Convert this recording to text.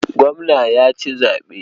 Gwamna ya ci zaɓe.